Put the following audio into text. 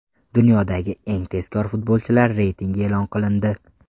Dunyodagi eng tezkor futbolchilar reytingi e’lon qilindi.